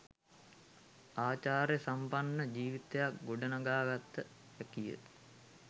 ආචාර සම්පන්න ජීවිතයක් ගොඩනඟාගත හැකිය.